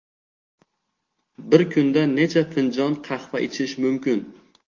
Bir kunda necha finjon qahva ichish mumkin?